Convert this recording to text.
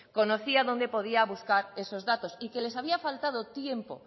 conocía dónde podía buscar esos datos y que les había faltado tiempo